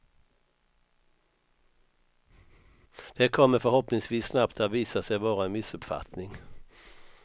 Det kommer förhoppningsvis snabbt att visa sig vara en missuppfattning.